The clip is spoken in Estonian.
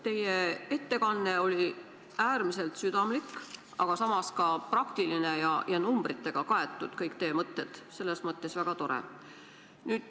Teie ettekanne oli äärmiselt südamlik, aga samas ka praktiline: kõik teie mõtted olid numbritega kaetud ja see oli väga tore.